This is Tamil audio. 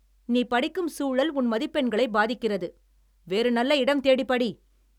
நீ படிக்கும் சூழல் உன் மதிப்பெண்களை பாதிக்கிறது! வேறு நல்ல இடம் தேடி படி.